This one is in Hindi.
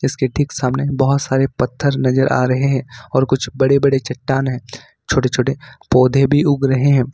उसके ठीक सामने बहुत सारे पत्थर नजर आ रहे हैं और कुछ बड़े बड़े चट्टान है छोटे छोटे पौधे भी उग रहे हैं।